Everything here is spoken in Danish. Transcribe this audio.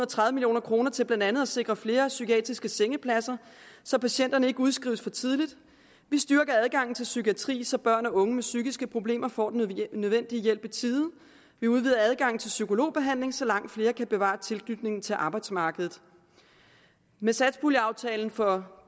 tredive million kroner til blandt andet at sikre flere psykiatriske sengepladser så patienterne ikke udskrives for tidligt vi styrker adgangen til psykiatri så børn og unge med psykiske problemer får den nødvendige hjælp i tide vi udvider adgangen til psykologbehandling så langt flere kan bevare tilknytningen til arbejdsmarkedet med satspuljeaftalen for